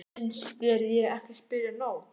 Finnst þér ég ekki spyrja nóg?